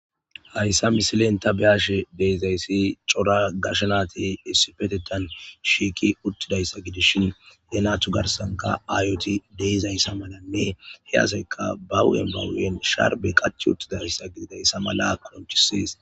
hayssa misilen ta be7ashe de7izayssi cora gashe nati issipetetan shiiqi uttidayssa gidishin he natu garsanka ayoti de7izayssa malanne he asayka ba hu7en bahu7en sharbe qachi uttidayssa gididayssa mala konchises